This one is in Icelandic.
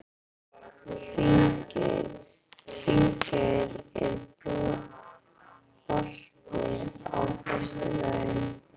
Finngeir, er bolti á föstudaginn?